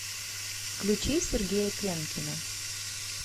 включи сергея пенкина